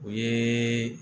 O ye